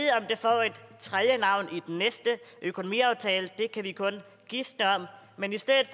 tredje navn i den næste økonomiaftale det kan vi kun gisne om men i stedet